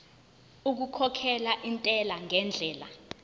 okukhokhela intela ngendlela